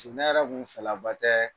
Ti ne yɛrɛ kun fɛlaba tɛɛ